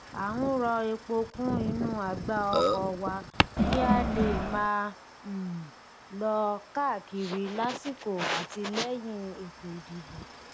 a ń rọ epo kún inú àgbá ọkọ wa kí a lè máa um lọ káàkiri lásìkò àti lẹyìn ètòìdìbò